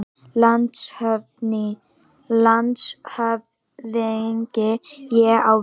LANDSHÖFÐINGI: Ég á við.